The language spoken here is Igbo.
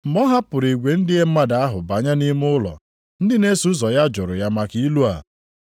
Mgbe ọ hapụrụ igwe ndị mmadụ ahụ banye nʼime ụlọ, ndị na-eso ụzọ ya jụrụ ya maka ilu a.